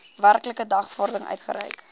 werklike dagvaarding uitgereik